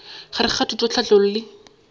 gare ga thuto tlhahlo le